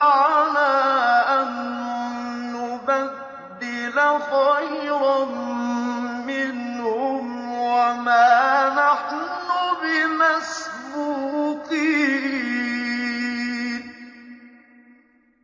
عَلَىٰ أَن نُّبَدِّلَ خَيْرًا مِّنْهُمْ وَمَا نَحْنُ بِمَسْبُوقِينَ